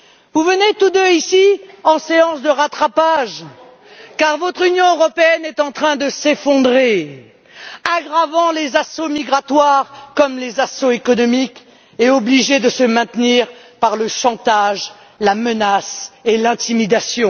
Vous venez tous deux ici en séance de rattrapage car votre Union européenne est en train de s'effondrer, aggravant les assauts migratoires comme les assauts économiques, et obligée de se maintenir par le chantage, la menace et l'intimidation.